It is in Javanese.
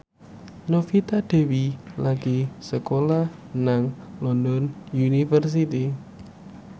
Novita Dewi lagi sekolah nang London University